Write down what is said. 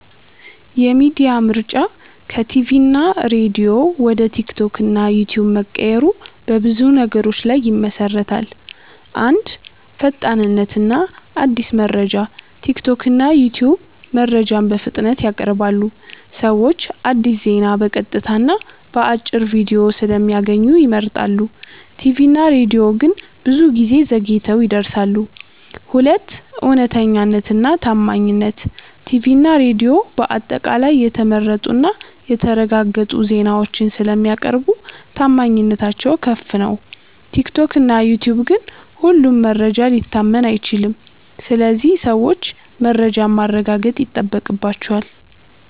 የሚዲያ ምርጫ ከቲቪ እና ሬዲዮ ወደ ቲክቶክ እና ዩትዩብ መቀየሩ በብዙ ነገሮች ላይ ይመሠረታል። 1. ፈጣንነት እና አዲስ መረጃ ቲክቶክ እና ዩትዩብ መረጃን በፍጥነት ያቀርባሉ። ሰዎች አዲስ ዜና በቀጥታ እና በአጭር ቪዲዮ ስለሚያገኙ ይመርጣሉ። ቲቪ እና ሬዲዮ ግን ብዙ ጊዜ ዘግይተው ይደርሳሉ። 2. እውነተኛነት እና ታማኝነት ቲቪ እና ሬዲዮ በአጠቃላይ የተመረጡ እና የተረጋገጡ ዜናዎችን ስለሚያቀርቡ ታማኝነታቸው ከፍ ነው። ቲክቶክ እና ዩትዩብ ግን ሁሉም መረጃ ሊታመን አይችልም ስለዚህ ሰዎች መረጃን ማረጋገጥ ይጠበቅባቸዋል።